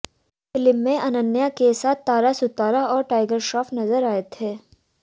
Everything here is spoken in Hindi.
फिल्म में अनन्या के साथ तारा सुतारिया और टाइगर श्रॉफ नजर आए थे